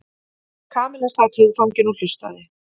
Kamilla sat hugfangin og hlustaði.